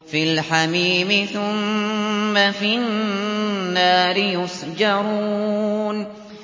فِي الْحَمِيمِ ثُمَّ فِي النَّارِ يُسْجَرُونَ